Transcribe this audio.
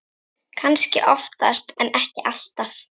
Kannski oftast en ekki alltaf.